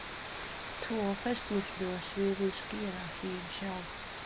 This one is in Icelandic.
Tvö fyrstnefndu sviðin skýra sig sjálf.